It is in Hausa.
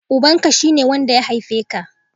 Ubanka, shi ne wanda ya haife ka